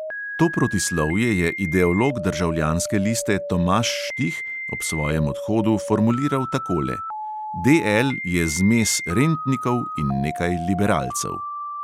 To protislovje je ideolog državljanske liste tomaž štih ob svojem odhodu formuliral takole: "DL je zmes rentnikov in nekaj liberalcev."